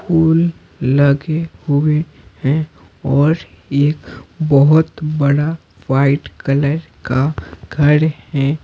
फूल लगेहुए हैंऔर एक बहुत बड़ावाइट कलर काघर है।